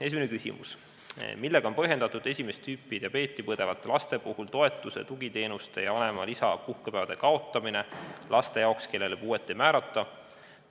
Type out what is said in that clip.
Esimene küsimus: "Millega on põhjendatud esimest tüüpi diabeeti põdevate laste puhul toetuse, tugiteenuste ja vanema lisapuhkepäevade kaotamine laste jaoks, kellele puuet ei määrata?